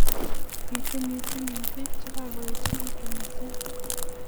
Bitu mising eng pik che kakoechekitu mising.